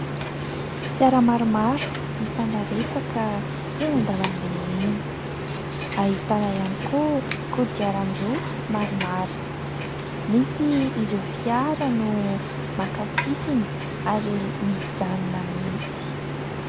Fiara maromaro mifanaretsaka eny an-dalam-be eny, ahitana ihany koa ,koadiarandroa maromaro, misy ireo fiara no maka sisiny ary mijanona mihitsy.